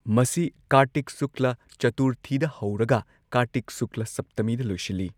ꯃꯁꯤ ꯀꯥꯔꯇꯤꯛ ꯁꯨꯀ꯭ꯂꯥ ꯆꯇꯨꯔꯊꯤꯗ ꯍꯧꯔꯒ ꯀꯥꯔꯇꯤꯛ ꯁꯨꯀ꯭ꯂꯥ ꯁꯞꯇꯃꯤꯗ ꯂꯣꯏꯁꯤꯜꯂꯤ꯫